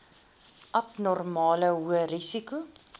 abnormale hoë risiko